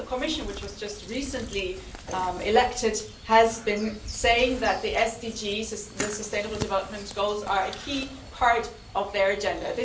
Also, the Commission, which was just recently elected, has been saying that the Sustainable Development Goals are a key part of their agenda.